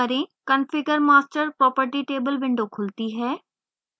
configure master property table window खुलती है